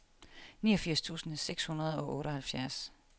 niogfirs tusind seks hundrede og otteoghalvfjerds